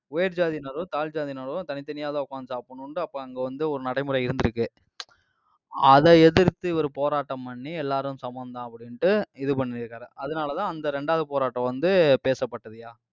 உயர் ஜாதியினரோ, தாழ் ஜாதியினரோ, தனித்தனியாதான் உட்கார்ந்து சாப்பிடணும்ட்டு அப்ப அங்க வந்து ஒரு நடைமுறை இருந்திருக்கு. அதை எதிர்த்து, இவரு போராட்டம் பண்ணி எல்லாரும் சமம்தான் அப்படின்ட்டு இது பண்ணியிருக்காரு. அதனாலதான், அந்த ரெண்டாவது போராட்டம் வந்து, பேசப்பட்டதுயா.